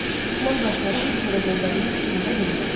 Mən bu əsəri heç yerə göndərmək fikrində deyiləm.